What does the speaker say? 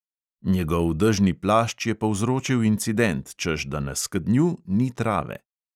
Njegov dežni plašč je povzročil incident, češ da na skednju ni trave.